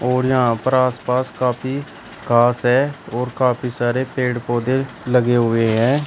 और यहां पर आस पास काफी घास है और काफी सारे पेड़ पौधे लगे हुए है।